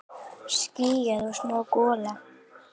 Skýjað og smá gola.